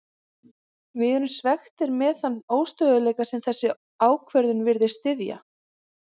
Við erum svekktir með þann óstöðugleika sem þessi ákvörðun virðist styðja.